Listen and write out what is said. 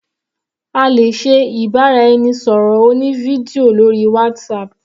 A lè ṣe ìbáraẹnisọ̀rọ̀ oní fídíò lórí WhatsApp.